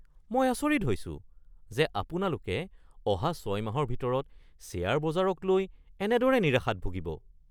মই আচৰিত হৈছোঁ যে আপোনালোকে অহা ৬ মাহৰ ভিতৰত শ্বেয়াৰ বজাৰক লৈ এনেদৰে নিৰাশাত ভুগিব।